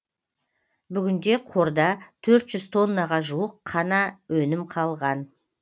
бүгінде қорда төрт жүз тоннаға жуық қана өнім қалған